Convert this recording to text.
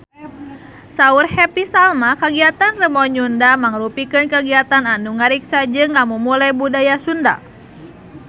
Saur Happy Salma kagiatan Rebo Nyunda mangrupikeun kagiatan anu ngariksa jeung ngamumule budaya Sunda